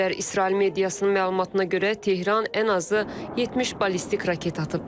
İsrail mediasının məlumatına görə Tehran ən azı 70 ballistik raket atıb.